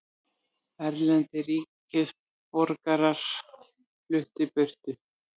Erlendir ríkisborgarar fluttir burt